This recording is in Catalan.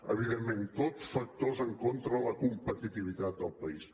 evidentment tot factors en contra de la competitivitat del país